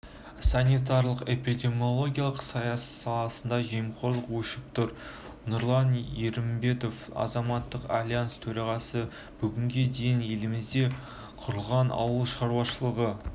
санитарлық-эпидемиологиялық саласында жемқорлық өршіп тұр нұрлан ерімбетов азаматтық альянс төрағасы бүгінге дейін елімізде құрылған ауыл шаруашылығы